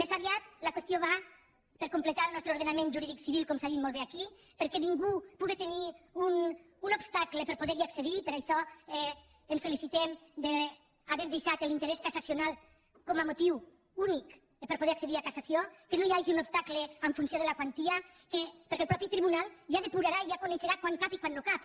més aviat la qüestió va per completar el nostre ordenament jurídic civil com s’ha dit molt bé aquí perquè ningú pugui tenir un obstacle per poder hi accedir i per això ens felicitem d’haver deixat l’interès cassacional com a motiu únic per a poder accedir a cassació que no hi hagi un obstacle en funció de la quantia perquè el mateix tribunal ja depurarà ja coneixerà quan hi cap i quan no hi cap